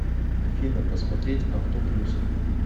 афина посмотреть авто плюс